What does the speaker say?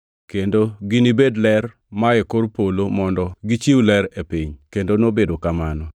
kendo ginibedi ler mae kor polo mondo gi chiw ler e piny.” Kendo nobedo kamano.